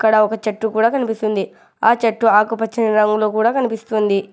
ఆడ ఒక చెట్టు కూడా కనిపిస్తుంది ఆ చెట్టు ఆకుపచ్చ రంగులో కూడా ఉంది.